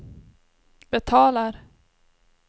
betalar